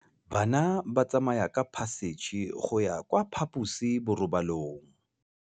Bana ba tsamaya ka phašitshe go ya kwa phaposiborobalong.